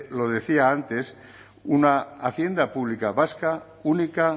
lo decía antes una hacienda pública vasca única